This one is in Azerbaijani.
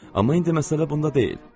Amma indi məsələ bunda deyil.